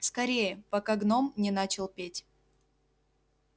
скорее пока гном не начал петь